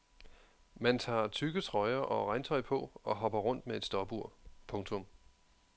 Man tager tykke trøjer og regntøj på og hopper rundt med et stopur. punktum